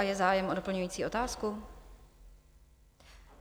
A je zájem o doplňující otázku?